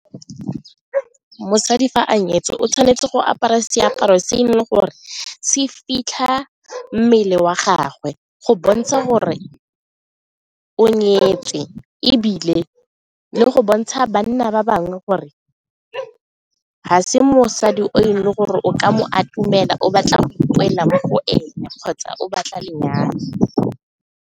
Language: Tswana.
Mosadi fa a nyetswe o tshwanetse go apara seaparo se e leng gore se fitlha mmele wa gagwe go bontsha gore o nyetswe e ebile le go bontsha banna ba bangwe gore ga se mosadi o itse gore o ka mo a itumela, o batla go boela mo go ena kgotsa o batla lenyalo.